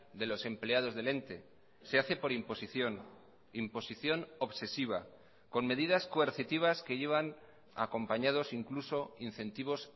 de los empleados del ente se hace por imposición imposición obsesiva con medidas coercitivas que llevan acompañados incluso incentivos